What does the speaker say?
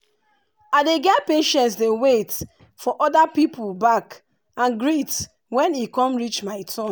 i dey get patience dey wait for oda people back and greet when e come reach my turn.